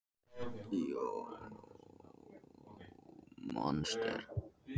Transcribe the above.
Margar forsögulegar tegundir drekaflugna voru miklu stærri en þær sem við þekkjum nú.